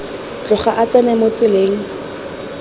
tloga a tsena mo tseleng